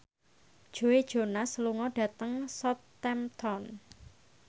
Joe Jonas lunga dhateng Southampton